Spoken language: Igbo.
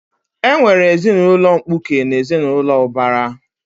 E nwere ezinaụlọ mkpuke na ezinaụlọ ubara